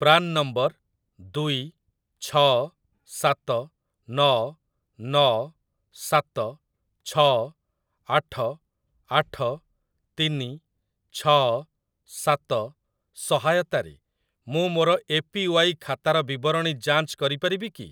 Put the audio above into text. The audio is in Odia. ପ୍ରାନ୍ ନମ୍ବର ଦୁଇ ଛଅ ସାତ ନଅ ନଅ ସାତ ଛଅ ଆଠ ଆଠ ତିନି ଛଅ ସାତ ସହାୟତାରେ ମୁଁ ମୋର ଏପିୱାଇ ଖାତାର ବିବରଣୀ ଯାଞ୍ଚ କରିପାରିବି କି?